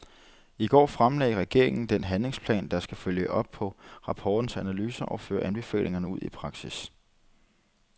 I går fremlagde regeringen den handlingsplan, der skal følge op på rapportens analyser og føre anbefalingerne ud i praksis.